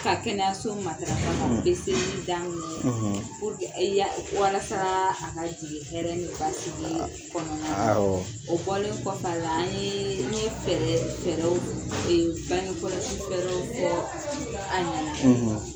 Ka kɛnɛyaso matarafa ka daminɛ yalasa a ka jigin hɛrɛ ni basigi kɔnɔna na o bɔlen kɔfɛ a la, an ye, n ye fɛɛrɛw bange kɔlɔsi fɛrɛw fɔ a ɲɛna